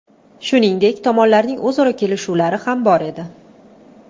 Shuningdek, tomonlarning o‘zaro kelishuvlari ham bor edi.